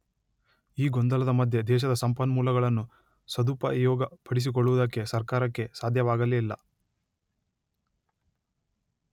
ಈ ಗೊಂದಲದ ಮಧ್ಯೆ ದೇಶದ ಸಂಪನ್ಮೂಲಗಳನ್ನು ಸದುಪಯೋಗಪಡಿಸಿಕೊಳ್ಳುವುದಕ್ಕೆ ಸರ್ಕಾರಕ್ಕೆ ಸಾಧ್ಯವಾಗಲೇ ಇಲ್ಲ